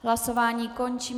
Hlasování končím.